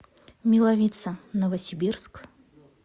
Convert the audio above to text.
милавица новосибирск